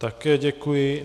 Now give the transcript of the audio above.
Také děkuji.